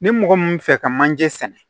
Ni mɔgɔ min fɛ ka manje sɛnɛ